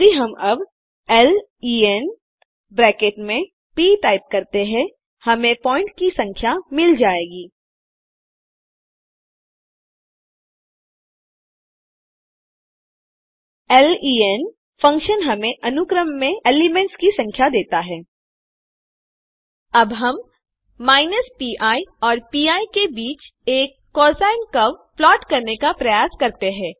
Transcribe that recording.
यदि हम अब लेन ब्रैकेट में प टाइप करते हैं हमें पॉइंट्स की संख्या मिल जाएगी लेन फंक्शन हमें अनुक्रम में एलिमेंट्स एलिमेंट्स की संख्या देता हैं अब हम माइनस पी और पी के बीच एक कोसाइन कर्व प्लाट करने का प्रयास करते हैं